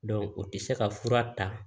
o tɛ se ka fura ta